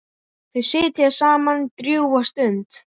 Þau sitja saman drjúga stund.